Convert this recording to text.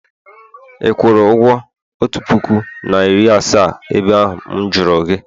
ị kwụrụ ụgwọ otu puku na iri asaa ebe ahụ m juru gi?